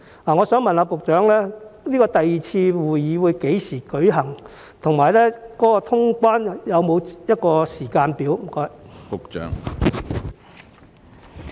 我想問局長，第二次會議將於何時舉行，以及通關有否時間表？